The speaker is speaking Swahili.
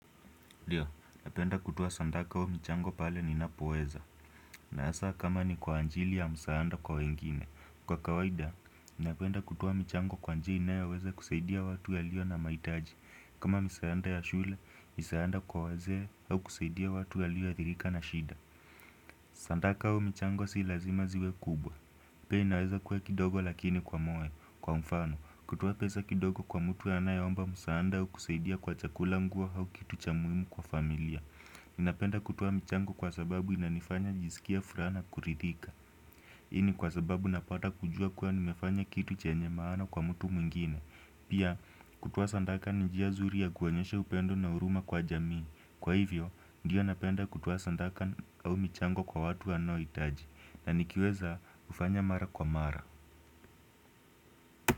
Ndio, napenda kutoa sandaka au mchango pale ninapoweza. Na hasaa kama ni kwa ajili ya msaanda kwa wengine. Kwa kawaida, napenda kutoa michango kwa njia inayoweza kusaidia watu walio na mahitaji. Kama misaanda ya shule, misaanda kwa wazee au kusaidia watu walio athirika na shida. Sandaka au mchango si lazima ziwe kubwa. Pia inaweza kuwa kidogo lakini kwa moyo. Kwa mfano, kutoa pesa kidogo kwa mtu anayeomba msaada au kusaidia kwa chakula nguo au kitu cha muhimu kwa familia. Ninapenda kutoa michango kwa sababu inanifanya nisikia furaha kuridhika hii kwa sababu napata kujua kuwa nimefanya kitu chenye maana kwa mtu mwingine Pia kutoa sandaka ni njia nzuri ya kuonyesha upendo na huruma kwa jamii Kwa hivyo, ndiyo napenda kutoa sandaka au michango kwa watu wanohitaji na nikiweza hufanya mara kwa mara.